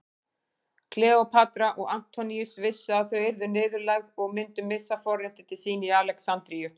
Kleópatra og Antoníus vissu að þau yrðu niðurlægð og myndu missa forréttindi sín í Alexandríu.